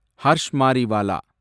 Harsh Mariwala